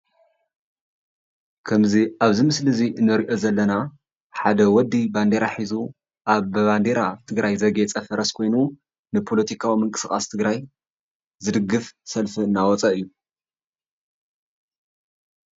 ከምዚ ኣብዚ ምስሊ እዚ እንሪኦ ዘለና ሓደ ወዲ ባንዴራ ሒዙ ኣብ ብባንዴራ ትግራይ ዘግየፀ ፈረስ ኮይኑ ንፖለቲካዊ ምንቅስቃስ ትግራይ ዝድግፍ ሰልፊ እናወፀ እዩ፡፡